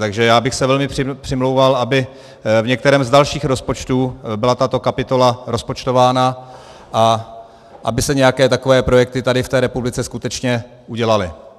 Takže já bych se velmi přimlouval, aby v některém z dalších rozpočtů byla tato kapitola rozpočtována a aby se nějaké takové projekty tady v té republice skutečně udělaly.